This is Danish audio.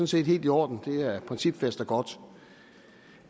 set helt i orden det er principfast og godt